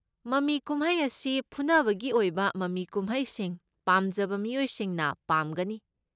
ꯃꯃꯤ ꯀꯨꯝꯍꯩ ꯑꯁꯤ ꯐꯨꯅꯕꯒꯤ ꯑꯣꯏꯕ ꯃꯃꯤ ꯀꯨꯝꯍꯩꯁꯤꯡ ꯄꯥꯝꯖꯕ ꯃꯤꯑꯣꯏꯁꯤꯡꯅ ꯄꯥꯝꯒꯅꯤ꯫